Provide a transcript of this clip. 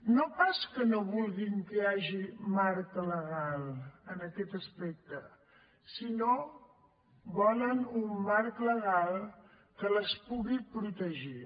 no pas que no vulguin que hi hagi marc legal en aquest aspecte sinó que volen un marc legal que les pugui protegir